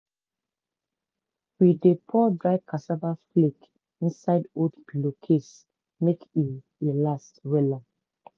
we dey pour dry cassava flake inside old pillowcase make e e last wella.